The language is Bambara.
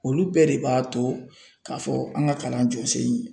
Olu bɛɛ de b'a to k'a fɔ an ka kalan jɔsen